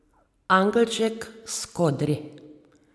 Angelček s kodri.